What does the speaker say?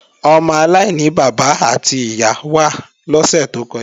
Ọmọ aláìní bàbá àti ìyá wá lọ́sè tó kọjá